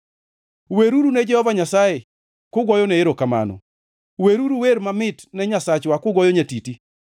Weruru ne Jehova Nyasaye kugoyone erokamano, weruru wer mamit ne Nyasachwa kugoyo nyatiti.